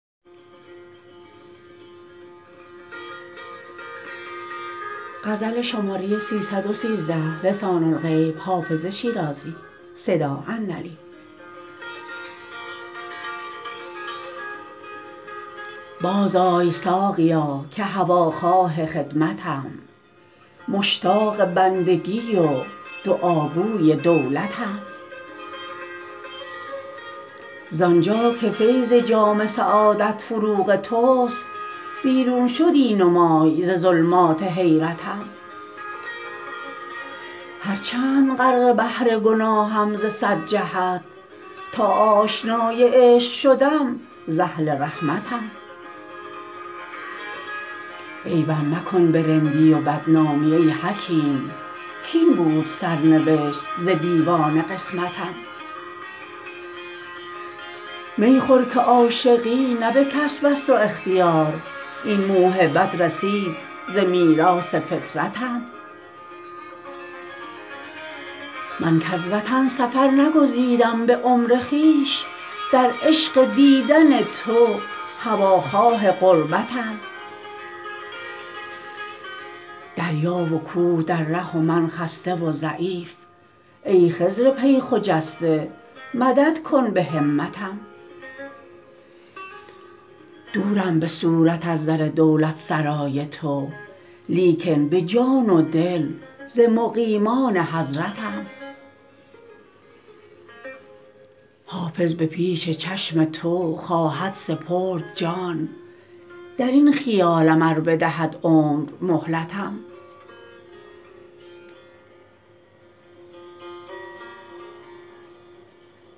بازآی ساقیا که هواخواه خدمتم مشتاق بندگی و دعاگوی دولتم زان جا که فیض جام سعادت فروغ توست بیرون شدی نمای ز ظلمات حیرتم هرچند غرق بحر گناهم ز صد جهت تا آشنای عشق شدم ز اهل رحمتم عیبم مکن به رندی و بدنامی ای حکیم کاین بود سرنوشت ز دیوان قسمتم می خور که عاشقی نه به کسب است و اختیار این موهبت رسید ز میراث فطرتم من کز وطن سفر نگزیدم به عمر خویش در عشق دیدن تو هواخواه غربتم دریا و کوه در ره و من خسته و ضعیف ای خضر پی خجسته مدد کن به همتم دورم به صورت از در دولتسرای تو لیکن به جان و دل ز مقیمان حضرتم حافظ به پیش چشم تو خواهد سپرد جان در این خیالم ار بدهد عمر مهلتم